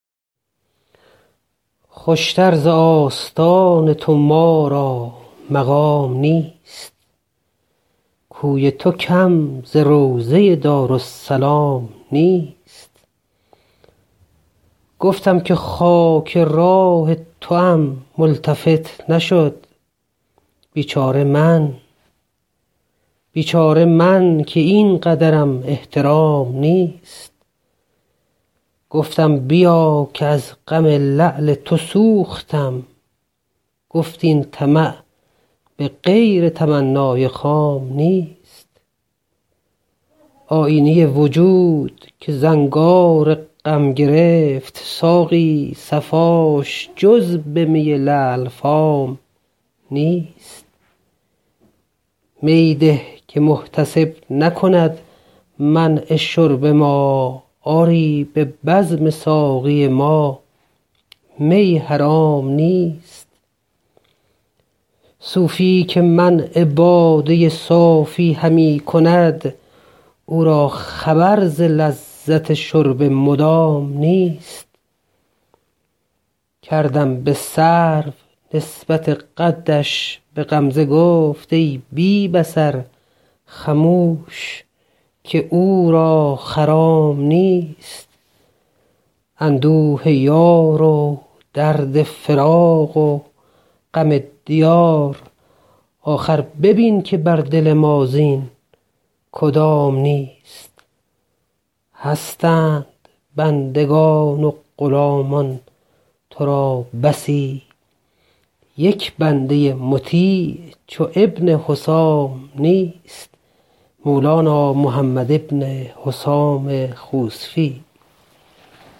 خوشتر ز آستان تو ما را مقام نیست کوی تو کم ز روضه دارالسلام نیست گفتم که خاک راه توام ملتفت نشد بیچاره من که اینقدرم احترام نیست گفتم بیا که از غم لعل تو سوختم گفت این طمع به غیر تمنای خام نیست آیینه وجود که زنگار غم گرفت ساقی صفاش جز به می لعل فام نیست می ده که محتسب نکند منع شرب ما آری به بزم ساقی ما می حرام نیست صوفی که منع باده صافی همی کند او را خبر ز لذت شرب مدام نیست کردم به سرو نسبت قدش به غمزه گفت ای بی بصر خموش که او را خرام نیست اندوه یار و درد فراق و غم دیار آخر ببین که بر دل ما زین کدام نیست هستند بندگان و غلامان تو را بسی یک بنده مطیع چو ابن حسام نیست